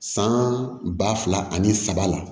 San ba fila ani saba la